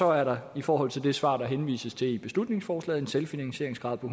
er der i forhold til det svar der henvises til i beslutningsforslaget en selvfinansieringsgrad på